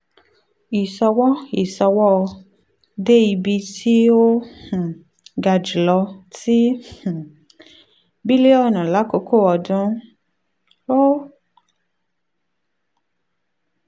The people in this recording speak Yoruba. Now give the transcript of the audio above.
um iṣowo iṣowo india-nigeria de ibi ti o um ga julọ ti $ um ten point two bilionu lakoko ọdun two thousand eight - two thousand nine; o